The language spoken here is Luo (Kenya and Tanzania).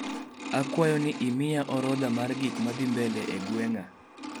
Akwayo ni imiya orodha mar gikmadhii mbele e gweng'a